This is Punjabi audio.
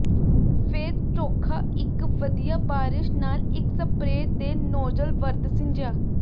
ਫਿਰ ਚੋਖਾ ਇਕ ਵਧੀਆ ਬਾਰਸ਼ ਨਾਲ ਇੱਕ ਸਪਰੇਅ ਦੇਨੌਜ਼ਲ ਵਰਤ ਸਿੰਜਿਆ